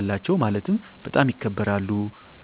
አላቸው ማለትም በጣም ይከበራሉ